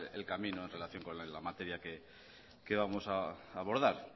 el camino en relación con la materia que vamos a abordar